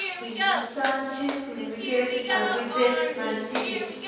Hindustan zinc limited arbitrage माहिती दे